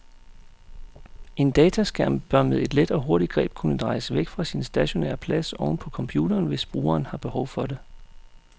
En dataskærm bør med et let og hurtigt greb kunne drejes væk fra sin stationære plads oven på computeren, hvis brugeren har behov for det.